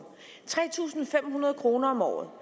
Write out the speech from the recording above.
tre tusind fem hundrede kroner om året